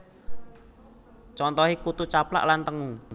Contoh e Kutu Caplak lan tengu